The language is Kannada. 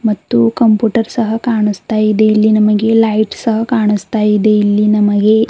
ಮತ್ತು ಕಂಪುಟರ್ ಸಹ ಕಾಣಸ್ತಾ ಇದೆ ಇಲ್ಲಿ ನಮಗೆ ಲೈಟ್ ಸಹ ಕಾಣಸ್ತಾ ಇದೆ ಇಲ್ಲಿ ನಮಗೆ.